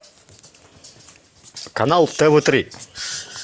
канал тв три